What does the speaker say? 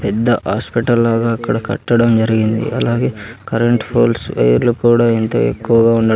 పెద్ద హాస్పిటల్ లాగా అక్కడ కట్టడం జరిగింది అలాగే కరెంట్ పోల్స్ వైర్లు కూడా ఎంతో ఎక్కువగా ఉండ--